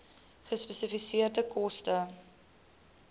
gespesifiseerde koste